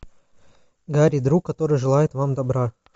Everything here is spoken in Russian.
гарри друг который желает вам добра